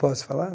Posso falar?